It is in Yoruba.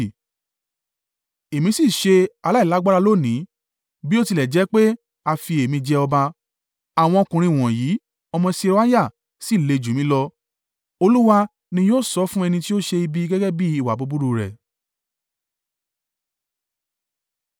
Èmi sì ṣe aláìlágbára lónìí, bí ó tilẹ̀ jẹ́ pé a fi èmi jẹ ọba; àwọn ọkùnrin wọ̀nyí ọmọ Seruiah sì le jù mí lọ: Olúwa ni yóò san án fún ẹni tí ó ṣe ibi gẹ́gẹ́ bí ìwà búburú rẹ̀!”